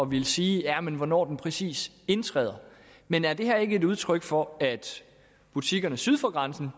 ville sige hvornår den præcis indtræder men er det her ikke et udtryk for at butikkerne syd for grænsen